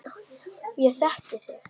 Ég þekki þig.